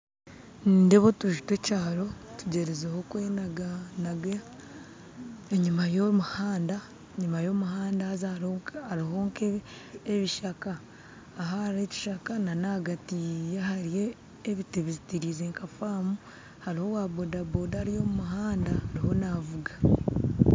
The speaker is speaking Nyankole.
Nindeeba otuju tw'ekyaro tugyerizeho kwenaganaga, enyima y'omuhanda enyima y'omuhanda haza hariho nk'ebishaka aha hariho ekishaka nana ahagati ye hariho ebiti bizitirize nka faamu, hariho owaboda boda arimu navuga